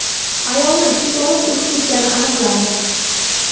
Ayolni teplovoz urib ketgani aniqlandi.